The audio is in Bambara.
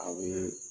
A bɛ